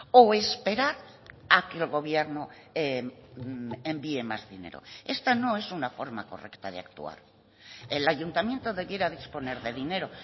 o esperar a que el gobierno envíe más dinero esta no es una forma correcta de actuar el ayuntamiento debiera disponer de dinero